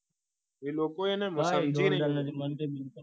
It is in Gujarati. એ લોકોએ ખંચેરી